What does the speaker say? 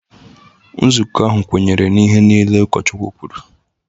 Nzukọ ahụ kwenyere na ihe niile ụkọchukwu kwuru